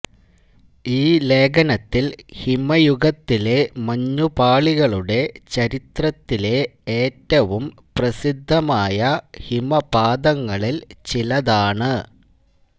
ഈ ലേഖനത്തിൽ ഹിമയുഗത്തിലെ മഞ്ഞുപാളികളുടെ ചരിത്രത്തിലെ ഏറ്റവും പ്രസിദ്ധമായ ഹിമപാതങ്ങളിൽ ചിലതാണ്